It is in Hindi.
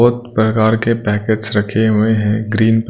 बहुत प्रकार के पैकेट्स रखे हुए हैं ग्रीन --